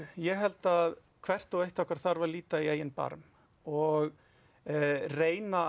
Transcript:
ég held að hvert og eitt okkar þarf að líta í eigin barm og reyna að